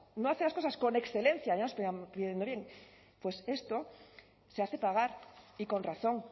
no hace las cosas con excelencia pues esto se hace pagar y con razón